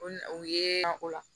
O na u ye o la